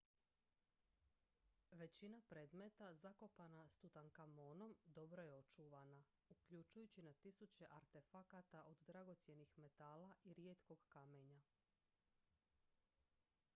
većina predmeta zakopana s tutankamonom dobro je očuvana uključujući na tisuće artefakata od dragocjenih metala i rijetkog kamenja